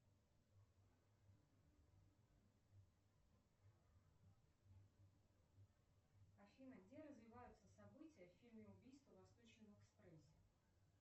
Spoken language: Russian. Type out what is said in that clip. афина где развиваются события в фильме убийство в восточном экспрессе